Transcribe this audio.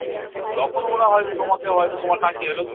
তখন ওরা হয়ত তোমাকেও হয়তো তোমাকে